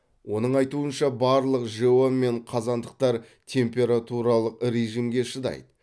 оның айтуынша барлық жэо мен қазандықтар температуралық режимге шыдайды